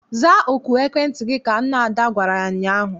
Zaa oku ekwentị gị! Ka nne Ada gwara ya ụnyaahụ.